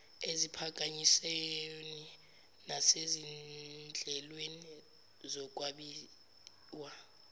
eziphakanyisweni nasezinhlelweni zokwabiwa